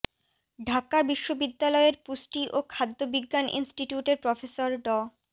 ঢাকা বিশ্ববিদ্যালয়ের পুষ্টি ও খাদ্য বিজ্ঞান ইনস্টিটিউটের প্রফেসর ড